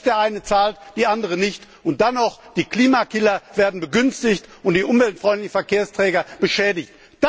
Aber nicht Der eine zahlt, die anderen nicht, und dann werden noch die Klimakiller begünstigt und die umweltfreundlichen Verkehrsträger geschädigt.